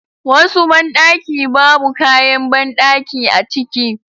Wasu banɗaki babu kayan banɗaki a ciki